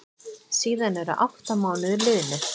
Síðan eru átta mánuðir liðnir.